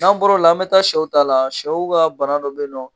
N'an bɔr'o la n bɛ taa sɛw ta la sɛw ka bana dɔ bɛ yen nɔ